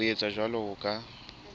ho etsa jwalo ho ka